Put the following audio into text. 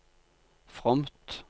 fromt